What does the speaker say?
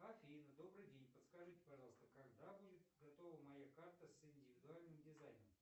афина добрый день подскажите пожалуйста когда будет готова моя карта с индивидуальным дизайном